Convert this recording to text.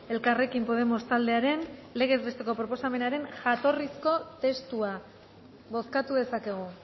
elkarrekin podemos taldearen legez besteko proposamenaren jatorrizko testua bozkatu dezakegu